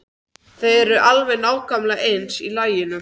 Þau eru alveg nákvæmlega eins í laginu.